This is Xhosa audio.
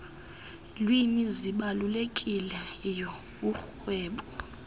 lwimi zibalulekileyo kurhwebo